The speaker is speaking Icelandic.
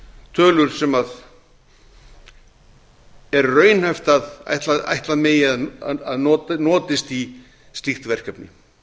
tölur sem er raunhæft að ætla megi að notist í slíkt verkefni